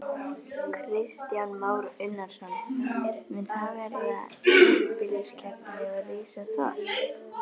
Kristján Már Unnarsson: Mun þar verða þéttbýliskjarni og rísa þorp?